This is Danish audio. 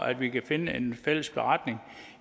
at vi kan skrive en fælles beretning